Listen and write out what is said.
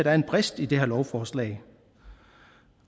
er en brist i det her lovforslag